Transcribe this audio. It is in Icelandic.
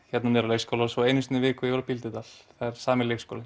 hérna niðri á leikskóla og einu sinni á viku í Bíldudal sami leikskólinn